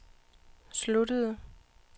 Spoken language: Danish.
sluttede